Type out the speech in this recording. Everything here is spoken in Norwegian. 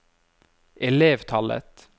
elevtallet